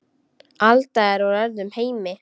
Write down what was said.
Alda er úr öðrum heimi.